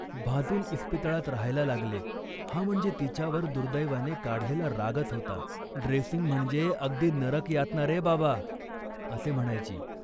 भाजून इस्पितळात राहायला लागले हा म्हणजे तिच्यावर दुर्दैवाने काढलेला रागच होता. "ड्रेसिंग म्हणजे अगदी नरकयातना रे बाबा," असे म्हणायची